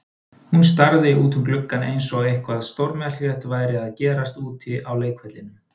Hann starði út um gluggann eins og eitthvað stórmerkilegt væri að gerast úti á leikvellinum.